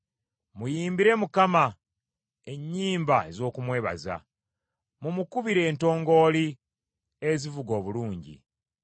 Muyimbire Mukama ennyimba ez’okumwebaza; mumukubire entongooli ezivuga obulungi.